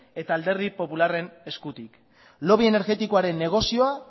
eta alderdi popularraren eskutik lobby energetikoen negozioa